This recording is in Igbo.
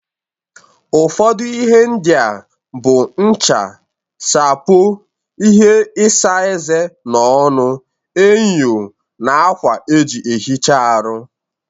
Ụfọdụ ihe ndị a bụ ncha, sapo, ihe isa eze/ọnụ, enyo, na akwa eji ehicha aru.